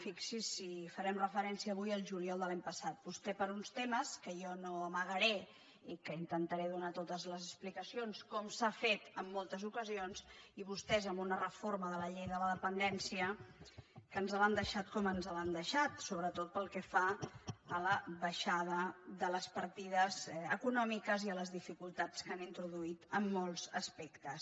fixi’s si farem referèn·cia avui al juliol de l’any passat vostè per uns temes que jo no amagaré i que intentaré donar totes les expli·cacions com s’ha fet en moltes ocasions i vostès amb una reforma de la llei de la dependència que ens l’han deixada com ens l’han deixada sobretot pel que fa a la baixada de les partides econòmiques i a les dificultats que han introduït en molts aspectes